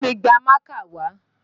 Bámi gba mákà wá!